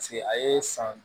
Paseke a ye san